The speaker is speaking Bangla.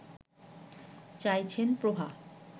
চাইছেন প্রভা